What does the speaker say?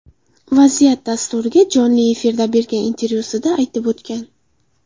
Vaziyat” dasturiga jonli efirda bergan intervyusida aytib o‘tgan.